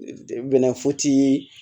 Bɛnɛfoti